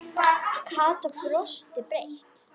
Kata brosti breitt.